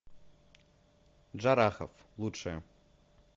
джарахов лучшее